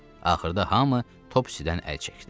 Axırda hamı Topsidən əl çəkdi.